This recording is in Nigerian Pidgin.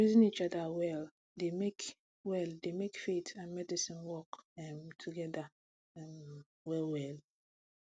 to reason each other well dey make well dey make faith and medicine work um together um well well